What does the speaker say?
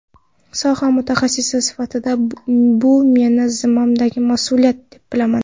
Soha mutaxassisi sifatida bu meni zimmamdagi mas’uliyat deb bilaman.